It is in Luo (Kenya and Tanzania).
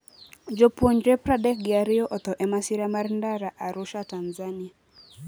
Jopuonjre pradek gi ariyo otho e masira mar ndara Arusha, Tanzania